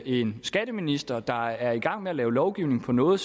en skatteminister der er i gang med at lave lovgivning om noget